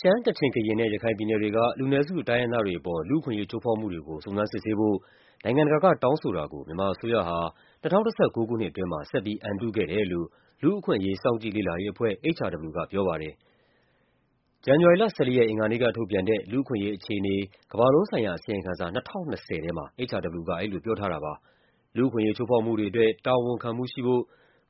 ရှမ်း၊ ကချင်၊ ကရင်နဲ့ ရခိုင်ပြည်နယ်က လူနည်းစု တိုင်းရင်းသားတွေအပေါ် လူ့အခွင့်အရေး ချိုးဖောက်မှုတွေကို စုံစမ်းစစ်ဆေးဖို့ နိုင်ငံတကာက တောင်းဆိုတာကို မြန်မာအစိုးရဟာ ၂၀၁၉ မှာ ဆက်ပြီး အန်တုခဲ့တယ်လို့ လူ့အခွင့်အရေး စောင့်ကြည့်လေ့လာရေးအဖွဲ့ HRW က ပြောပါတယ်။ ဇန်နဝါရီလ ၁၄ ရက်နေ့ အင်္ဂါနေ့က ထုတ်ပြန်တဲ့ လူ့အခွင့်အရေးအခြေအနေ ကမ္ဘာလုံးဆိုင်ရာအစီရင်ခံစာ ၂၀၂၀ ထဲမှာ HRW က အဲလိုပြောထားတာပါ။ လူ့အခွင့်အရေးချိုးဖောက်မှုတွေအတွက် တာဝန်ခံမှုရှိဖို့